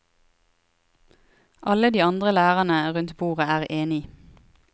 Alle de andre lærerne rundt bordet er enig.